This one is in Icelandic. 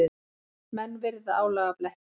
Menn virða álagabletti.